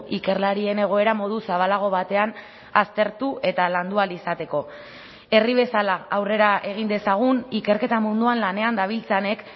ikerlarien egoera modu zabalago batean aztertu eta landu ahal izateko herri bezala aurrera egin dezagun ikerketa munduan lanean dabiltzanek